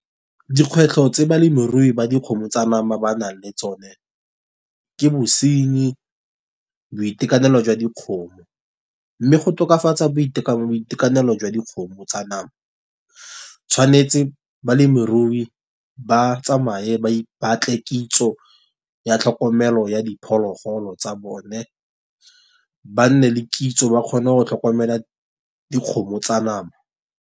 Dikgwetlho tse balemirui ba dikgomo tsa nama banang le tsone, ke bosenyi, boitekanelo jwa dikgomo. Mme go tokafatsa boitekanelo jwa dikgomo tsa nama, tshwanetse balemirui ba tsamaye ba batle kitso ya tlhokomelo ya diphologolo tsa bone ba nne le kitso ba kgone go tlhokomela dikgomo tsa nama.